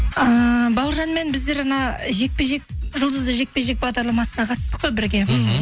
ыыы бауыржанмен біздер жаңа жекпе жек жұлдызды жекпе жек бағдарламасына қатыстық қой бірге мхм